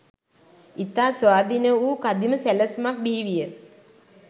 ඉතා ස්වාධීන වූ කදිම සැලැස්මක් බිහිවිය.